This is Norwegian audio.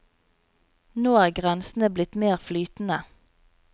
Nå er grensene blitt mer flytende.